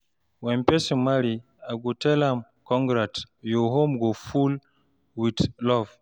When person marry, I go tell am, "Congrats! Your home go full with love!"